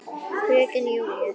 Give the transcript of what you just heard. Fröken Júlíu.